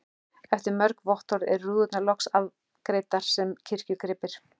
Eftir mörg vottorð eru rúðurnar loks afgreiddar sem kirkjugripir.